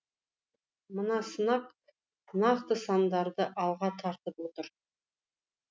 мына санақ нақты сандарды алға тартып отыр